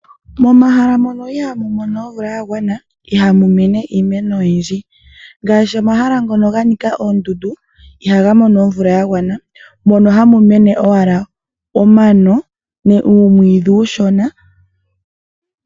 Momahala mono ihaamu mono omvula yagwana ihamu mene iimeno oyindji ngaashi omahala ngono ganika oondundu ihaga mono omvula yagwana, mono ohamu mene owala omano oshowo uumwiidhi uushona.